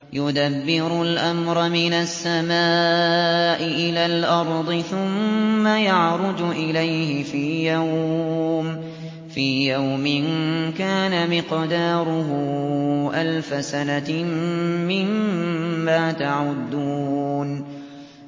يُدَبِّرُ الْأَمْرَ مِنَ السَّمَاءِ إِلَى الْأَرْضِ ثُمَّ يَعْرُجُ إِلَيْهِ فِي يَوْمٍ كَانَ مِقْدَارُهُ أَلْفَ سَنَةٍ مِّمَّا تَعُدُّونَ